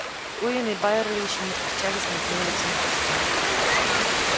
куинн и байерли ещё не встречались наедине лицом к лицу